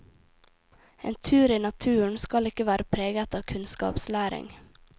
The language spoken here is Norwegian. En tur i naturen skal ikke være preget av kunnskapslæring.